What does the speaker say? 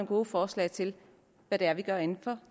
gode forslag til hvad det er vi gør inden for